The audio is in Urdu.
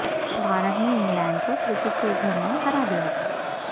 بھارت نے انگلینڈ کو کرکٹ کے گھر میں ہرا دیا